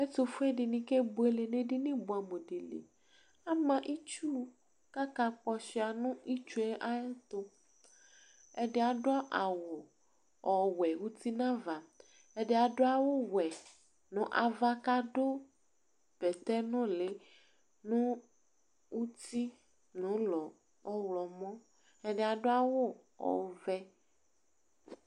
Ɛtufue aluɛdini kebuele nu edini ama itsu kaka kpɔshua nu itsue ayɛtu ɛdi adu awu ɔwɛ uti nava ɛdi adu awu wɛ nava kadu bɛtɛ nuli nu uti ulɔ ɔɣlɔmɔ ɛdini adu awu ɔvɛ